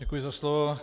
Děkuji za slovo.